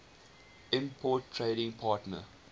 important trading partner